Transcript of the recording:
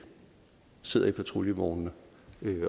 sidder i patruljevognene